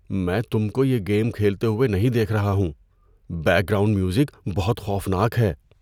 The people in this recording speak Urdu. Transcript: میں تم کو یہ گیم کھیلتے ہوئے نہیں دیکھ رہا ہوں۔ بیک گراؤنڈ میوزک بہت خوفناک ہے!